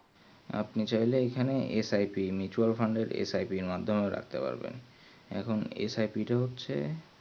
আপনি চাইলে এখানে SIPmutul fund এর SIP এর মধ্যেও রাখতে পারবেন এখুন SIP তা হচ্ছে